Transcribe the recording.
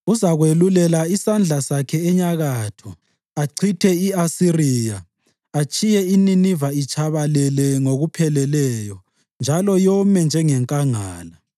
Uzakwelulela isandla sakhe enyakatho achithe i-Asiriya, atshiye iNiniva itshabalele ngokupheleleyo njalo yome njengenkangala.